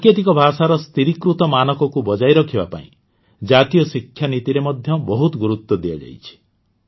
ସାଙ୍କେତିକ ଭାଷାର ସ୍ଥିରୀକୃତ ମାନକକୁ ବଜାୟ ରଖିବା ପାଇଁ ଜାତୀୟ ଶିକ୍ଷା ନୀତିରେ ମଧ୍ୟ ବହୁତ ଗୁରୁତ୍ୱ ଦିଆଯାଛି